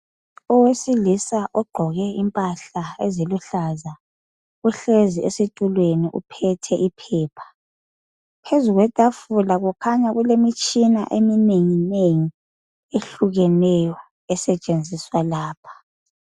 Owesilisa ogqoke impahla eziluhlaza uhlezi esitulweni uphethe iphepha, phezu kwetafula kukhanya kulemitshina eminengi nengi esetshenziswa lapha